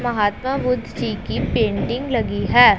महात्मा बुद्ध जी की पेंटिंग लगी है।